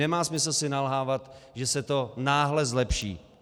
Nemá smysl si nalhávat, že se to náhle zlepší.